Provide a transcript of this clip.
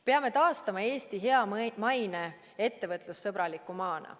Peame taastama Eesti hea maine ettevõtlussõbraliku maana.